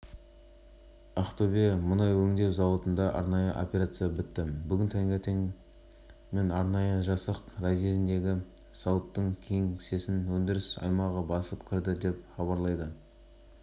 кейініректе соққан баланың анасы анастасия ли жүргізушінің сотқа берген жауабына түсініктеме берді ол азамат хасеновтың сотта айтқандарын екіжүзділік деп ал жүргізушінің